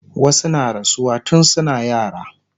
wasu na rasuwa tun suna yara